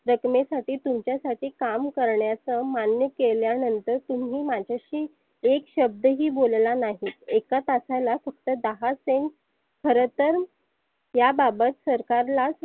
रक्कमे साठी तुमच्यासाठी काम करण्याच मान्य केल्या नंतर तुम्ही माझाशी एक शब्द ही बोलला नाहीत. एका तासाला फक्त cent खर तर या बाबत सरकारलाच